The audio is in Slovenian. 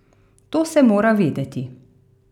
To se mora vedeti.